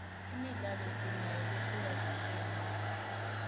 imidlalo sinayo lehlukahlukene